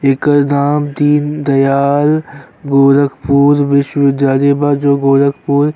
एकर नाम दीनदयाल गोरखपुर विश्वविद्यालय बा जो गोरखपुर --